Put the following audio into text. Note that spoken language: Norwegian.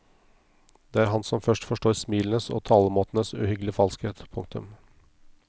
Det er han som først forstår smilenes og talemåtenes uhyggelige falskhet. punktum